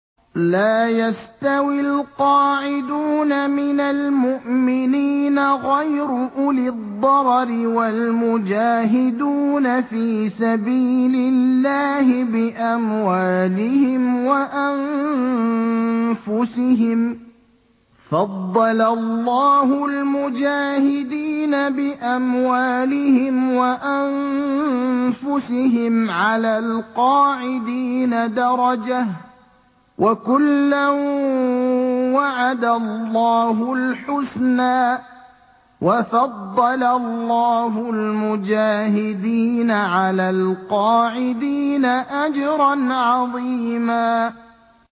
لَّا يَسْتَوِي الْقَاعِدُونَ مِنَ الْمُؤْمِنِينَ غَيْرُ أُولِي الضَّرَرِ وَالْمُجَاهِدُونَ فِي سَبِيلِ اللَّهِ بِأَمْوَالِهِمْ وَأَنفُسِهِمْ ۚ فَضَّلَ اللَّهُ الْمُجَاهِدِينَ بِأَمْوَالِهِمْ وَأَنفُسِهِمْ عَلَى الْقَاعِدِينَ دَرَجَةً ۚ وَكُلًّا وَعَدَ اللَّهُ الْحُسْنَىٰ ۚ وَفَضَّلَ اللَّهُ الْمُجَاهِدِينَ عَلَى الْقَاعِدِينَ أَجْرًا عَظِيمًا